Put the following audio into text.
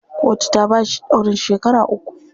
Kotu ta bashi ɗaurin shekara uku.